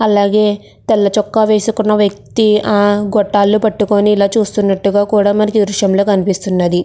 అలాగే తెల్ల చొక్కా వేసుకున్న వ్యక్తి ఆ గొట్టాలను పట్టుకొని ఇలా చూస్తున్నట్టుగా కూడా మనకి దృశ్యం లో కనిపిస్తున్నది.